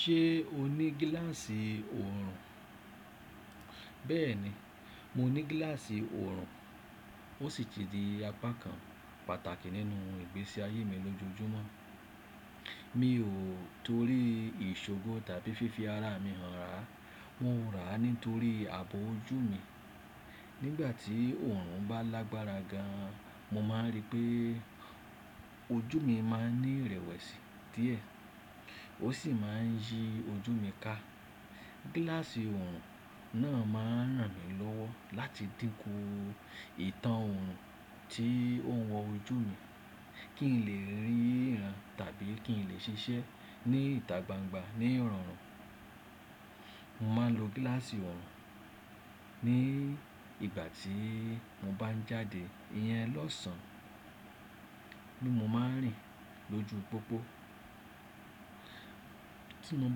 Ṣé o ní gíláàsì oòrùn? Bẹ́ẹ̀ni, mo ní gíláàsì oòrùn. Ó sì ti di apákan pàtàkì nínú ìgbésí ayé mi lójoojúmọ́. Mi ò torí isogun tàbí fífi ara mi hàn rà. Wọ́n rà nítorí àbò ojú mi. Nígbàtí oòrùn bá lágbára gan, mo ma rí pé ojú mi ma ní rẹ̀wẹ̀sì díẹ̀, ó sì ma ń yí ojú mi ká. Gílásì oòrùn náà ma ràn mí lọ́wọ́ láti dínkù ìtàn oòrùn tí ó ń wọ ojú mi, kí n lè rí iyan tàbí kí n lè ṣiṣẹ́ ní ìta gbangba ní ìrọ̀rùn. Mo ma lo gíláàsì oòrùn ní ìgbàtí mo bá jáde ìyẹn lọ̀sán. Ní mo ma ń rìn lójú pópó. Tí mo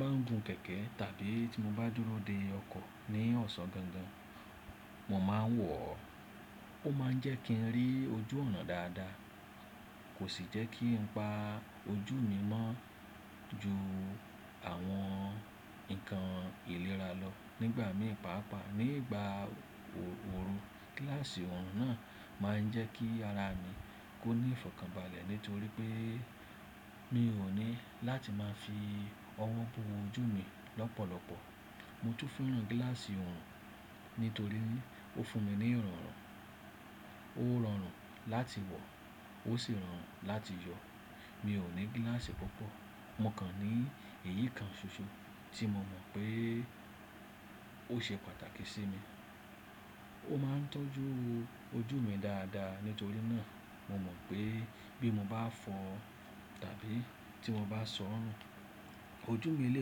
bá ń gun kẹ̀kẹ́ tàbí tí mo bá dúró de ọkọ̀ ní ọ̀sán gangan, mo ma ń wọ̀ ọ́. Ó ma ń jẹ́ kí n rí ojú ọ̀nà dáadáa, kò sì jẹ́ kí n pa ojú mi mọ́ ju àwọn nkan ìlera lọ nígbà mí pàápàá. Ní ìgbà oòrùn, gíláàsì oòrùn náà ma ń jẹ́ kí ara mi kó ní ìfọ̀kànbalẹ̀ nítorí pé mi ò ní láti ma fi ọwọ́ bo ojú mi lọ́pọ̀lọpọ̀. Mo tún fẹ́ràn gíláàsì oòrùn nítorí ó fún mi ní ìrọ̀rùn. Ó rọrùn láti wọ̀, ó sì rọrùn láti yọ. Mi ò ní gíláàsì púpọ̀, mo kàn ní eyikan ṣoṣo tí mo mọ̀ pé ó ṣe pàtàkì sí mi. Ó ma ń tọ́jú ojú mi dáadáa nítorí náà. Mo mọ̀ pé bí mo bá fọ́ tàbí tí mo bá sọ nù, ojú mi lè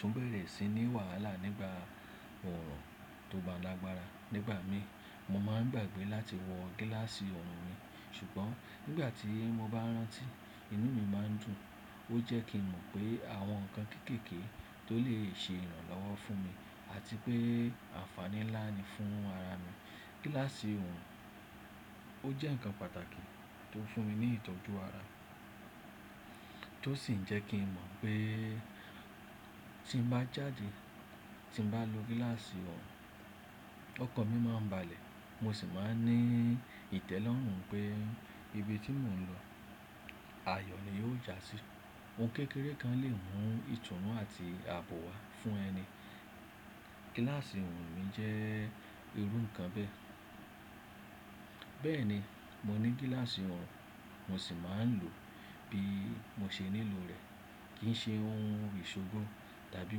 tún bẹ̀rẹ̀ sí ní wàhálà nígbà oòrùn tó lágbára. Nígbà mí, mo ma ń gbàgbé láti wọ gíláàsì oòrùn mi, ṣùgbọ́n nígbàtí mo bá rántí, inú mi ma ń dùn. Ó jẹ́ kí mo mọ̀ pé àwọn nkan kékeké tí ó lè ṣe ìrànlọ́wọ́ fún mi àti pé ànfàní ńlá ni fún ara mi. Gílásì oòrùn jẹ́ nkan pàtàkì tí ó fún mi ní ìtọ́jú ara, tó sì jẹ́ kí n mọ̀ pé tí n bá jáde, tí n bá lo gíláàsì oòrùn, ọkọ mi ma ń balẹ̀, mo sì ma ní ìtẹ́lọ́rùn pé ibi tí mo ń lọ, ayọ̀ ni yóò jásí. Ohun kékeré kan lè mú ìtùnú àti àbò wá fún ẹni. Gílásì oòrùn mi jẹ́ irú nkan bẹ́. Bẹ́ẹ̀ni, mo ní gíláàsì oòrùn, mo sì ma ń lò bí mo ṣe nílò rẹ̀. Kìí ṣe ohun isogun tàbí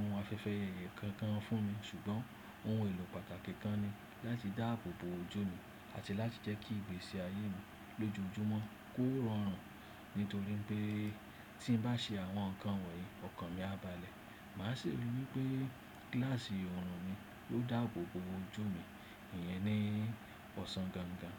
ohun afẹ́fẹ́ kankan fún mi, ṣùgbọ́n ohun èlò pàtàkì kan ni láti dá àbòbò ojú mi àti láti jẹ́ kí ìgbésí ayé mi lójoojúmọ́ kó rọrùn. Nítorí pé tí n bá ṣe àwọn nkan wọ̀nyí, ọkọ mi a balẹ̀. Ma ṣe rí wípé gíláàsì oòrùn mi yóò dá àbòbò ojú mi ìyẹn ní ọ̀sán gangan.